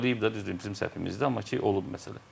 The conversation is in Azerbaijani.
İndi olub da, düzdür bizim səhvimizdir, amma ki, olub məsələ.